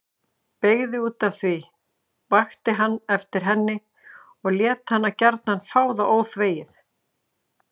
Brygði útaf því, vakti hann eftir henni og lét hana gjarna fá það óþvegið.